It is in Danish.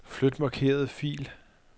Flyt markerede fil.